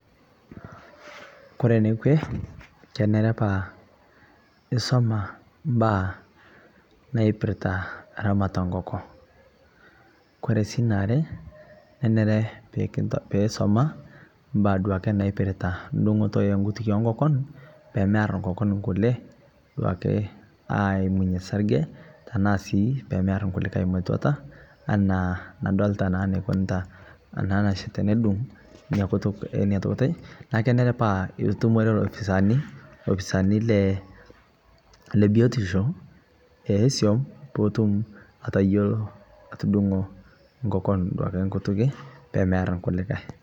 Kore ne kwee kenere paa isuma paa naipirita ramata o nkokoon. Kore sii ne aare nenere piii isuma baya duake naipirita dung'uto e nkutukie enkokoon pee aar nkokoon nkulee duake aimuiye saarije tana sii pee aar nkulikai mee tuataa ana nadolita naa neukunita ana naas tenedung'u nia nkutuk enia ntokitin. Naa kenere paa etumia itumorie lo fisaani lofisaani le biotisho e soum pii ituum aiteyeloo atudung'oo nkokoon nkutukie pee meear nkulikai.